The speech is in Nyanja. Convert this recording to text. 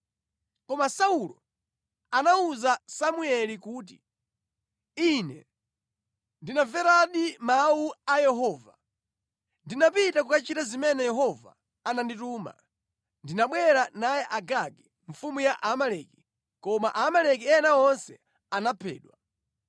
Koma Saulo anawuza Samueli kuti, “Ine ndinamveradi mawu a Yehova. Ndinapita kukachita zimene Yehova anandituma. Ndinabwera naye Agagi, mfumu ya Amaleki, koma Aamaleki ena onse anaphedwa.